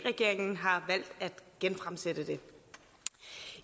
regeringen har valgt at genfremsætte det